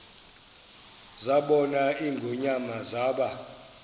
zabona ingonyama zaba